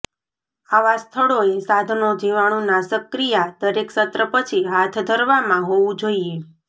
આવા સ્થળોએ સાધનો જીવાણુ નાશકક્રિયા દરેક સત્ર પછી હાથ ધરવામાં હોવું જોઈએ